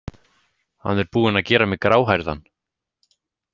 Hann er búinn að gera mig gráhærðan.